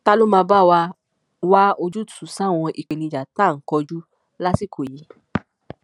ta ló máa bá wa wá ojúùtú sáwọn ìpèníjà tá à ń kojú lásìkò yìí